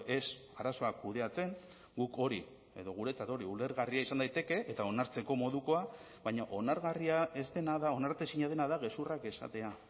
ez arazoak kudeatzen guk hori edo guretzat hori ulergarria izan daiteke eta onartzeko modukoa baina onargarria ez dena da onartezina dena da gezurrak esatea